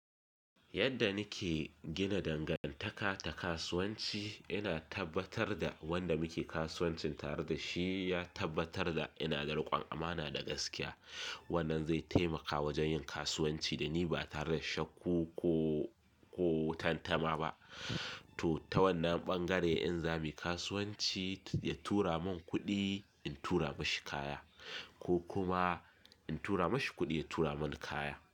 Yadda nike gina dangantaka ta kasuwanci, ina tabbatar da wanda muke kasuwancin tare da shi ya tabbatar da ina da riƙon amana da gaskiya. Wannan zai taimaka wajen yin kasuwanci da ni ba tare da shakkoko ko tantama ba. To ta wannan ɓangare, in za mu yi kasuwanci, ya tura mun kuɗi in tura mashi kaya ko kuma in tura mashi kuɗi ya tura mani kaya.